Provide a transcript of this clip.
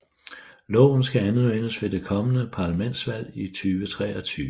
Loven skal anvendes ved det kommende parlamentsvalg i 2023